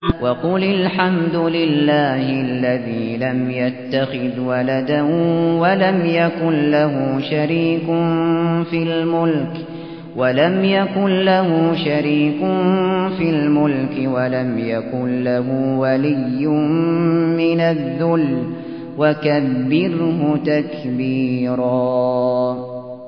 وَقُلِ الْحَمْدُ لِلَّهِ الَّذِي لَمْ يَتَّخِذْ وَلَدًا وَلَمْ يَكُن لَّهُ شَرِيكٌ فِي الْمُلْكِ وَلَمْ يَكُن لَّهُ وَلِيٌّ مِّنَ الذُّلِّ ۖ وَكَبِّرْهُ تَكْبِيرًا